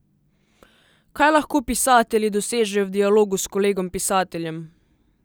Kaj lahko pisatelji dosežejo v dialogu s kolegom pisateljem?